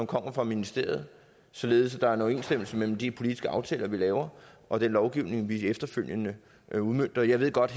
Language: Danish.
kommer fra ministeriet således at der er en overensstemmelse mellem de politiske aftaler vi laver og den lovgivning vi efterfølgende udmønter jeg ved godt